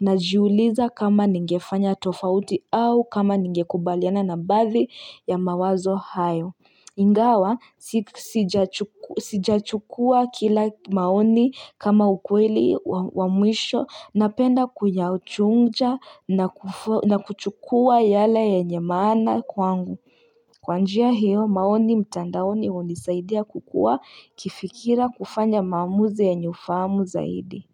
najiuliza kama ningefanya tofauti au kama ningekubaliana na baadhi ya mawazo hayo. Ingawa, sijachukua kila maoni kama ukweli wa mwisho napenda kuyachunja na kuchukua yale yenye maana kwangu. Kwa njia hiyo, maoni mtandaoni unisaidia kukua kifikira kufanya maamuzi yenye ufahamu zaidi.